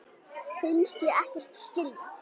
Finnst ég ekkert skilja.